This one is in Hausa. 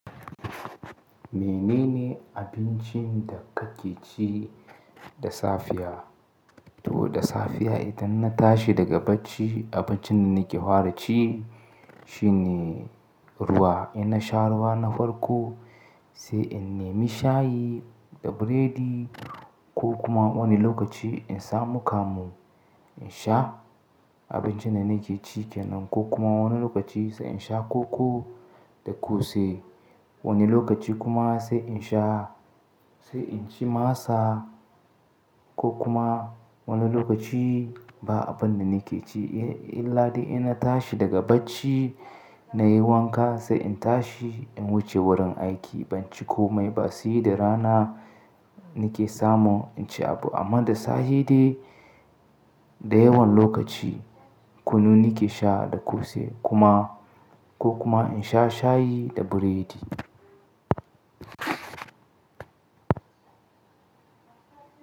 Menene abincin da kake ci da safiya? To da safiya idan na tashi daga bacci abincin da nake fara ci shine ruwa. In na sha ruwa na farko sai in nimi shayi da buredi ko kuma wani lokaci in samu kamu in sha abincin da nake ci kenan ko kuma wani lokaci sai in sha koko da kose. Wani lokaci kuma sai in sha sai in ci masa ko kuma wani lokaci ba abun da nake ci illa dai in na tashi daga bacci na yi wanka sai in tashi in wuce wurin aiki ban ci komai ba. Si da rana nake samu in ci abu amma da safe dai da yawan lokaci kunu nake sha da kose kuma ko kuma in sha shayi da buredi.